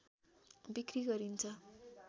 बिक्री गरिन्छ